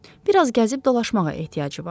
Bir az gəzib dolaşmağa ehtiyacı vardı.